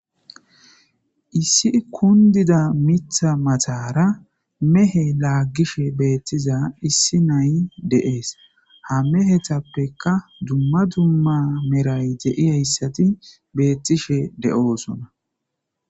issi kundida mitha matara mehe laaggishe beettiza issi nay de'ees ha mehetappeka dumma dumma meray de'iyayssati beettishe de'oosona